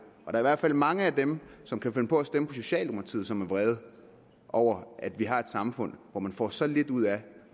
er i hvert fald mange af dem som kan finde på at stemme på socialdemokratiet som er vrede over at vi har et samfund hvor man får så lidt ud af